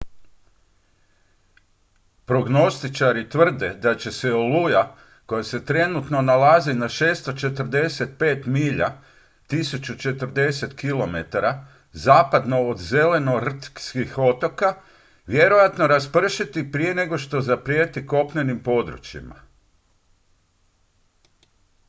prognostičari tvrde da će se oluja koja se trenutačno nalazi na 645 milja 1040 km zapadno od zelenortskih otoka vjerojatno raspršiti prije nego što zaprijeti kopnenim područjima